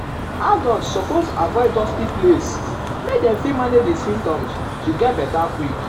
adults suppose avoid dusty place make dem fit manage di symptoms um to get beta quick.